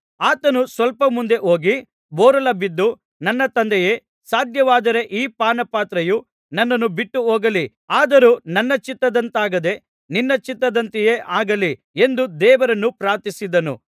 ಆತನು ಸ್ವಲ್ಪ ಮುಂದೆ ಹೋಗಿ ಬೋರಲು ಬಿದ್ದು ನನ್ನ ತಂದೆಯೇ ಸಾಧ್ಯವಾದರೆ ಈ ಪಾನಪಾತ್ರೆಯು ನನ್ನನ್ನು ಬಿಟ್ಟುಹೋಗಲಿ ಆದರೂ ನನ್ನ ಚಿತ್ತದಂತಾಗದೆ ನಿನ್ನ ಚಿತ್ತದಂತೆಯೇ ಆಗಲಿ ಎಂದು ದೇವರನ್ನು ಪ್ರಾರ್ಥಿಸಿದನು